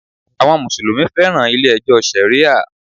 Àwọn Mùsùlùmí féràn ilé ẹjọ́ Sharia.